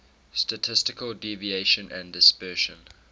statistical deviation and dispersion